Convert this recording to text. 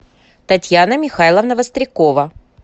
татьяна михайловна вострякова